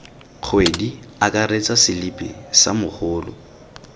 kgwedi akaretsa selipi sa mogolo